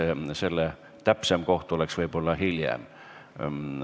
Selle õigem aeg oleks võib-olla hiljem.